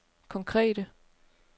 konkrete